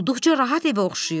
olduqca rahat evə oxşayırdı.